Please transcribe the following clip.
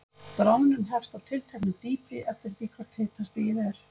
Bráðnun hefst á tilteknu dýpi, eftir því hvert hitastigið er.